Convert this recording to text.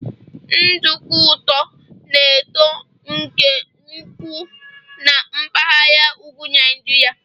nduku ụtọ na-eto nke ukwuu na mpaghara ugwu Nijiria